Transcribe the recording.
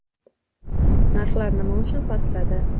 Narxlar nima uchun pastladi?